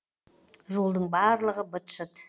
жолдың барлығы быт шыт